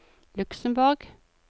Luxemborg